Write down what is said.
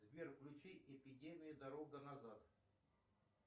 сбер включи эпидемия дорога назад